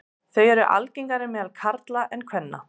Þau eru algengari meðal karla en kvenna.